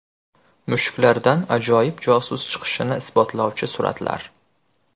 Mushuklardan ajoyib josus chiqishini isbotlovchi suratlar.